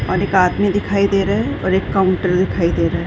और एक आदमी दिखाई दे रहा है और एक काउंटर दिखाई दे रहा है।